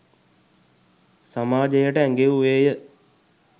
සමාජයට ඇඟෙව්වේය.